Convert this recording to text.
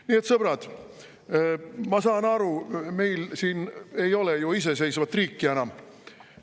Nii et, sõbrad, ma saan aru, meil siin ei ole ju iseseisvat riiki enam.